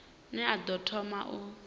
ne a ḓo thoma u